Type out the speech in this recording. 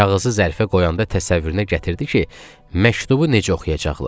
Kağızı zərfə qoyanda təsəvvürünə gətirdi ki, məktubu necə oxuyacaqlar.